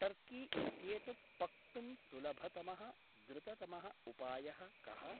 Turkey इत्येतत् पक्तुं सुलभतमः द्रुततमः उपायः कः?